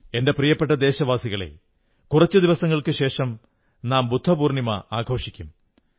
എന്റെ പ്രിയപ്പെട്ട ദേശവാസികളേ കുറച്ചു ദിവസങ്ങൾക്കുശേഷം നാം ബുദ്ധപൌർണ്ണമി ആഘോഷിക്കും